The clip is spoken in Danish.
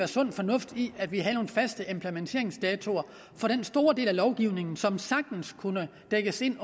sund fornuft i at vi havde nogle faste implementeringsdatoer for den store del af lovgivningen som sagtens kunne passes ind